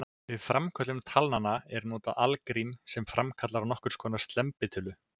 Við framköllun talnanna er notað algrím sem framkallar nokkurs konar slembitölu.